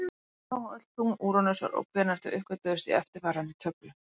Skoða má öll tungl Úranusar og hvenær þau uppgötvuðust í eftirfarandi töflu: